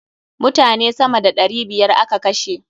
Mutane sama da ɗari biyar a ka kashe.